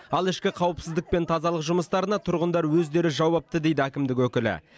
ал ішкі қауіпсіздік пен тазалық жұмыстарына тұрғындар өздері жауапты дейді әкімдік өкілі